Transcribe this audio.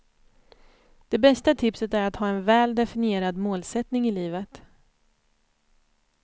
Det bästa tipset är att ha en väl definierad målsättning i livet.